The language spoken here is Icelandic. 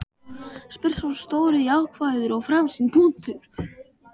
spyr sá stóri jákvæður og framsýnn.